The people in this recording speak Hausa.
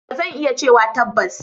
Ba zan iya cewa tabbas.